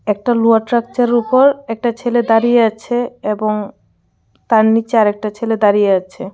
একটা লুহার ট্রাকচারের ওপর একটা ছেলে দাঁড়িয়ে আছে এবং তার নীচে আর একটা ছেলে দাঁড়িয়ে আছে.